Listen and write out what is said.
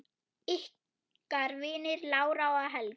Ykkar vinir, Lára og Helgi.